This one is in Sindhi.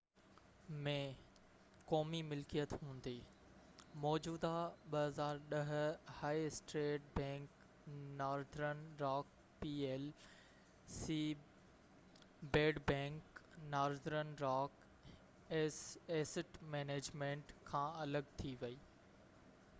2010 ۾، قومي ملڪيت هوندي، موجوده high street bank Northern Rock P L C ‘bad bank’, Northern Rock asset management کان الڳ ٿي وئي